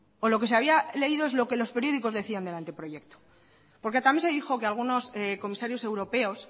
o lo que se había leído es lo que los periódicos decían del anteproyecto porque también se dijo que algunos comisarios europeos